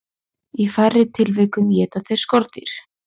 Í færri tilvikum éta þeir skordýr.